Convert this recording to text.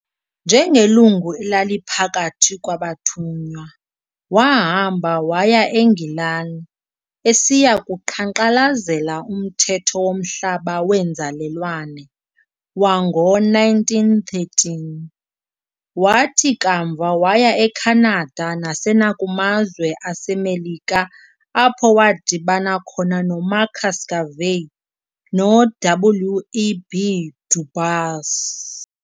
Njengelungu elaliphakathi kwabathunywa, waahamba waya e-Ngilani esiyakuqhankqalazela Umthetho womhlaba weenzalelwane, wango-1913, wathi kamva waya eKhanada nasenakumazwe aseMelika apho waadibana khona noMarcus Garvey noW. E. B. Du Bois.